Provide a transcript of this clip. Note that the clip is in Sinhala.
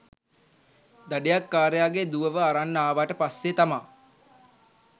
දඩයක්කාරයාගේ දුවව අරන් ආවට පස්සේ තමා